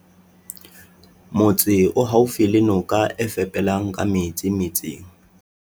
Motse o haufi le noka e fepelang ka metsi metseng.